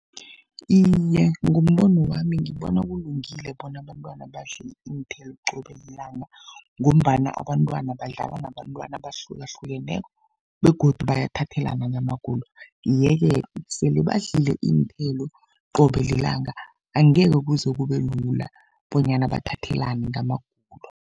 Iye, ngombono wami ngibona kulungile bona abantwana badle iinthelo qobe lilanga, ngombana abantwana badlala nabantwana abahlukahlukeneko begodu bayathathelana ngamagulo. Yeke sele badlile iinthelo qobe lilanga angeke kuze kube lula bonyana bathathelane ngamagulo.